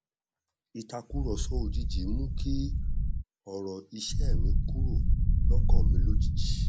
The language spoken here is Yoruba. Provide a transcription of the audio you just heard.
ìtàkùrọsọ òjijì mú kí ọrọ iṣẹ mi kúrò lọkàn mi lójijì